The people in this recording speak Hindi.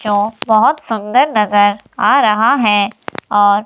जो बहुत सुंदर नजर आ रहा है और--